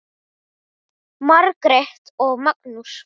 Margrét og Magnús.